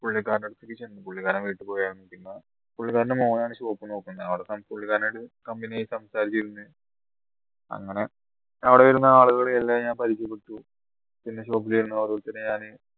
പുള്ളിക്കാരൻ പുള്ളിക്കാരൻ വീട്ടിൽ പോയായിരുന്നു പിന്നെ പുള്ളിക്കാരന്റെ മോനാണ് shop നോക്കുന്നത് അവിടുന്ന് പുള്ളിക്കാരൻ ആയിട്ട് company ആയി സംസാരിച്ചിരുന്നു അങ്ങനെ അവിടെ വരുന്ന ആളുകളെ എല്ലാം ഞാൻ പരിചയപ്പെട്ടു പിന്നെ shop ൽ വരുന്ന ഓരോരുത്തരെയും